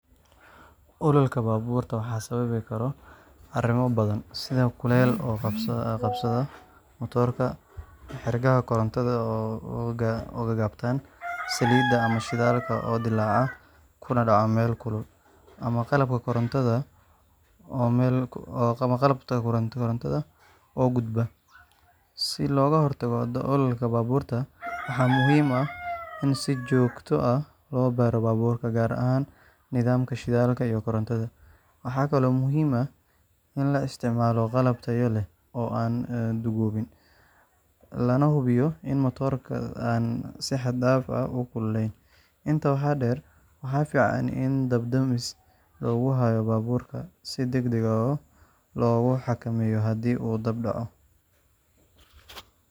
Ololka baabuurta waxaa sababi kara arrimo badan sida kul kulul oo qabsada matoorka, xadhkaha korontada oo gaagaaban, saliidda ama shidaalka oo dillaaca kuna dhacda meel kulul, ama qalabka korontada oo gubta. Si looga hortago ololka baabuurta, waxaa muhiim ah in si joogto ah loo baaro baabuurka, gaar ahaan nidaamka shidaalka iyo korontada. Waxaa kaloo muhiim ah in la isticmaalo qalab tayo leh oo aan duugoobin, lana hubiyo in matoorka aan si xad dhaaf ah u kululeyn. Intaa waxaa dheer, waxaa fiican in dab-damis lagu hayo baabuurka, si degdeg ah loogu xakameeyo haddii uu dab dhaco.